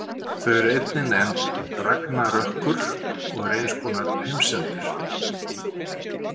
Þau eru einnig nefnd ragnarökkur og eru eins konar heimsendir.